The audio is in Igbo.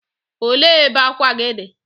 O le ebe akwa gi di?